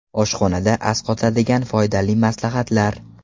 Oshxonada asqotadigan foydali maslahatlar.